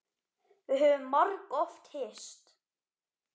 Við höfum margoft hist.